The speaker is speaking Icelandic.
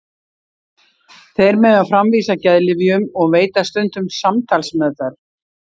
Þeir mega framvísa geðlyfjum og veita stundum samtalsmeðferð.